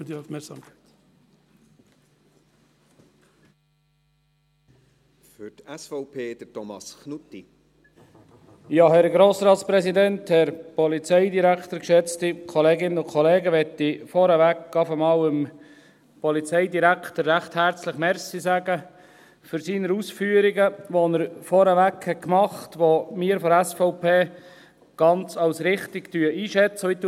Ich will vorneweg schon einmal dem Polizeidirektor recht herzlich danke sagen für seine Ausführungen, die er vorgängig gemacht hat, die wir von der SVP als ganz richtig einschätzen.